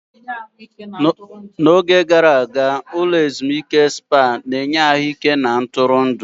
Ụlọ ezimuike nke Spá n'oge gara aga, na-enye ahụike na ebe ntụrụndụ na ebe ezimuike.